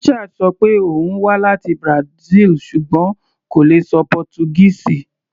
Richard ṣọ pé òun wá láti Brazil ṣùgbọ́n kò lè ṣọ Pọ́túgíìsì.